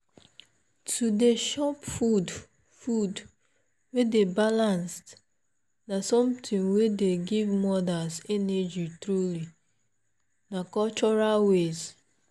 to dey chop food food wey dey balanced na something wey dey give mothers energy truly na cultural way.